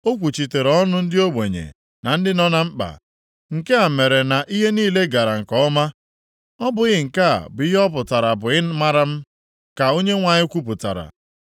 O kwuchitere ọnụ ndị ogbenye na ndị nọ na mkpa, nke a mere na ihe niile gara nke ọma. Ọ bụghị nke a bụ ihe ọ pụtara bụ ịmara m? Ka Onyenwe anyị kwupụtara